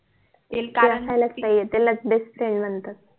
त्यालाच BEST FRIEND म्हणतात